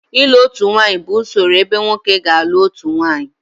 ịlụ otu nwanyị bụ usoro ebe nwoke ga-alụ otu nwunye